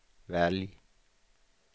välj